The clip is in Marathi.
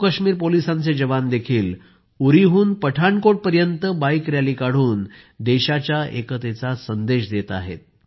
जम्मू काश्मीर पोलिसांचे जवानही उरीहून पठाणकोटपर्यंत बाईक रॅली काढून देशाच्या एकतेचा संदेश देत आहेत